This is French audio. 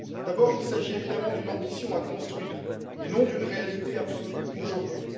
D'abord, il s'agit évidemment d'une ambition à construire et non d'une réalité absolue aujourd'hui.